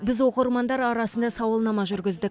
біз оқырмандар арасында сауалнама жүргіздік